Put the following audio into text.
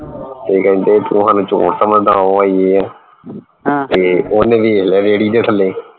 ਤੇ ਕਹਿੰਦੇ ਤੂੰ ਸਾਨੂੰ ਚੋਰ ਸਮਝਦਾ ਉਹ ਆ ਯੇ ਹੈ ਤੇ ਓਹਨੇ ਵੇਖ ਲਿਆ ਰੇਹੜੀ ਦੇ ਥੱਲੇ